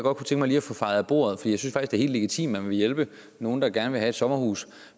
helt legitimt nogen at ville hjælpe nogle der gerne vil have et sommerhus